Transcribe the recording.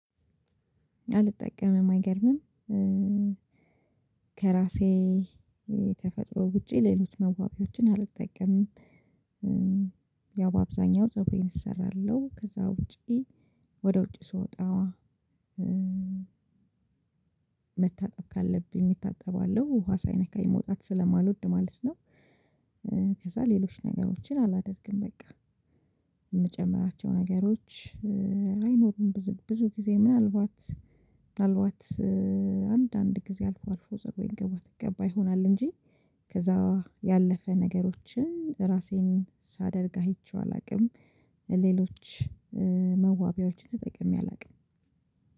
አልጠቀምም አይገርምም ከራሴ ተፈጥሮ ውጪ ሌሎች መዋቢያዎችን አልተጠቀምም። ያው በአብዛኛው ፀጉሬን እሰራለሁ ከዛ ውጪ ወደ ውጪ ስወጣ መታጠብ ካለብኝ እታጠባለሁ ውሃ ሳይነካኝ መውጣት ስለማልወድ ማለት ነው። ከዛ ሌሎች ነገሮችን አላደርግም በቃ። የምጨምራቸው ነገሮች አይኖሩም። ብዙ ብዙ ጊዜ ምናልባት ምናልባት አንዳንድ ጊዜ አልፎ አልፎ ፀጉሬን ቅባት እቀባ ይሆናል እንጂ። ከዛ ያለፈ ነገሮችን ራሴን ሳደርግ አይቼው አላውቅም። ሌሎች መዋቢያዎችን ተጠቅሜ አላውቅም።